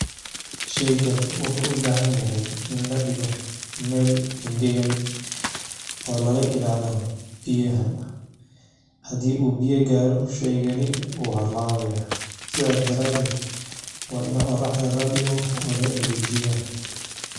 sheygani wuxuu ubahanyahay in ladhigo meel engagan oo laga ilaaliyo biyaha, hadii uu biyo gaaro sheygani wuu halabaya, sidaa daraated waa ina qoraxda ladhigo oo la engajiya.